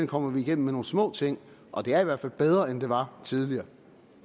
kommer vi igennem med nogle små ting og det er i hvert fald bedre end det var tidligere